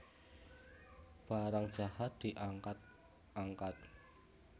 Barang jahat diangkat angkat